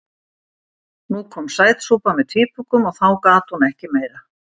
Nú kom sætsúpa með tvíbökum og þá gat hún ekki meira.